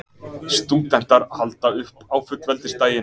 Stúdentar halda upp á fullveldisdaginn